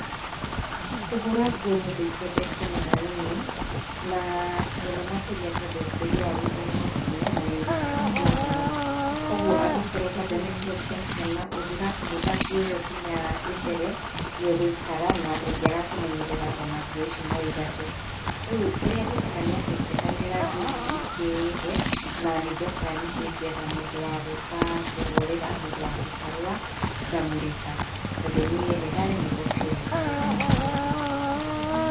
Kũhũra nguo nĩũndũ itendete ona hanini na mũno makĩria tondũ tĩri wa gwitũ nĩ mũtune na nĩ unyitaga nguo mũno. Koguo angĩkorwo kwanja nĩ nguo cia ciana ũngĩgakumutha nguo ĩyo nginya ĩthere nĩ ũgũikara na ũngĩaga kũmenyerera ona nguo ici no igace. Rĩũ ũrĩa njĩkaga nĩatĩ ndietagĩrĩra nguo ici cingĩhe na nĩnjokaga ningĩ ngetha mũndũ wa gũka kũhũrĩra, mũndũ wa kĩbarua ngamũrĩha tondũ niĩ nĩndaremirwo biũ nĩ kũhũraga nguo kaingĩ.